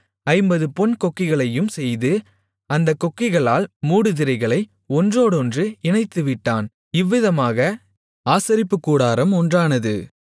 ஐம்பது பொன் கொக்கிகளையும் செய்து அந்தக் கொக்கிகளால் மூடுதிரைகளை ஒன்றோடொன்று இணைத்துவிட்டான் இவ்விதமாக ஆசாரிப்புக்கூடாரம் ஒன்றானது